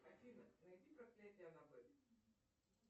афина найди проклятие аннабель